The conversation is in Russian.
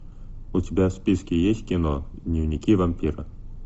у тебя в списке есть кино дневники вампира